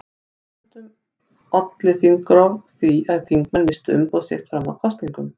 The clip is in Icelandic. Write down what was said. Stundum olli þingrof því að þingmenn misstu umboð sitt fram að kosningum.